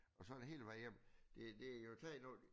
Og sådan er det hele vejen igennem det de har jo taget noget